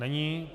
Není.